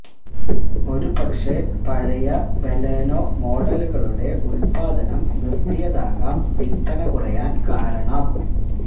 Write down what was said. ഒരുപക്ഷെ പഴയ ബലെനോ മോഡലുകളുടെ ഉത്പാദനം നിര്ത്തിയതാകാം വില്പ്പന കുറയാന് കാരണം